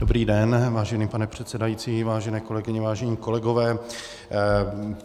Dobrý den, vážený pane předsedající, vážené kolegyně, vážení kolegové.